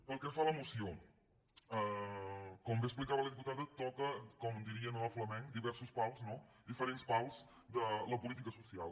pel que fa a la moció com bé explicava la diputada toca com diríem en el flamenc diversos pals no diferents pals de la política social